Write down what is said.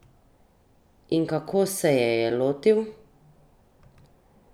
In kako se je je lotil?